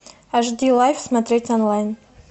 ашди лайф смотреть онлайн